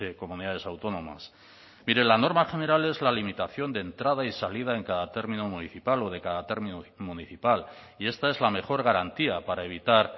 comunidades autónomas mire la norma general es la limitación de entrada y salida en cada término municipal o de cada término municipal y esta es la mejor garantía para evitar